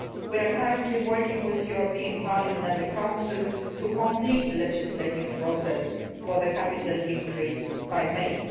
We are currently working with the European Parliament and the Council to complete the legislative process for the capital increase by May.